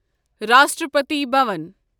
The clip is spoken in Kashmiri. راشٹرپتی بھوان